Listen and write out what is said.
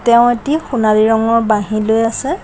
তেওঁ এটি সোণালী ৰঙৰ বাঁহী লৈ আছে।